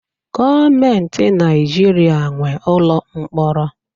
Gọọmenti Naijiria nwe ụlọ mkpọrọ